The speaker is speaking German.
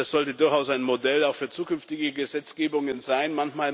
Das sollte durchaus auch ein Modell für zukünftige Gesetzgebungen sein.